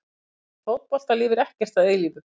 Í fótbolta lifir ekkert að eilífu.